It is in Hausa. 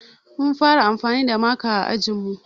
Mun fara anfani da maka a ajinmu